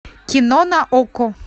кино на окко